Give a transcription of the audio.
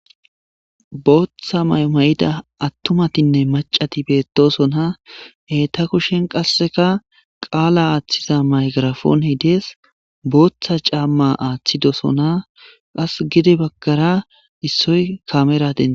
Booththa mayo mayida attumatinne macati beettosona. He ta kushen qasseka qaala aaththiza mayikirafoon dees. Booththa caamma aaththidosona .Qassi giddi baggara issoy kamera dees.